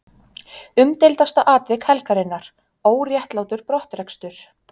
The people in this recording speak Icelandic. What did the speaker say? Umdeildasta atvik helgarinnar: Óréttlátur brottrekstur?